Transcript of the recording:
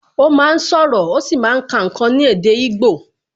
Ó máa ń sọ̀rọ̀, ó sì máa ń kà ǹkan ní èdè igbo